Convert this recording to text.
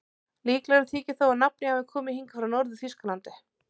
Líklegra þykir þó að nafnið hafi komið hingað frá Norður-Þýskalandi.